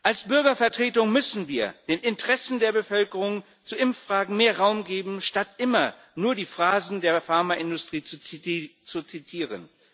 Als Bürgervertretung müssen wir den Interessen der Bevölkerung zu Impffragen mehr Raum geben, statt immer nur die Phrasen der Pharmaindustrie zu zitieren.